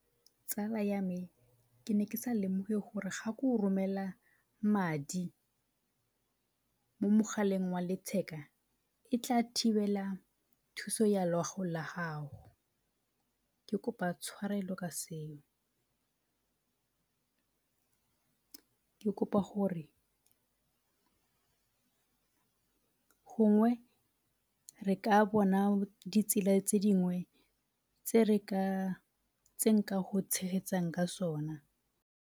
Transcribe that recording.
Tsala ya me, ke ne ke sa lemoge gore ga ke go romela madi mo mogaleng wa letheka e tla thibela thuso ya loago la gago. Ke kopa tshwarelo ka seo. ke kopa gore gongwe re ka bona ditsela tse dingwe tse re ka, tse nka go tshegetsang ka sona.